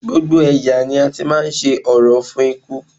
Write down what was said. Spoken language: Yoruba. Gbogbo ẹ̀yà ni a ti máa ń ṣe orò fún òkú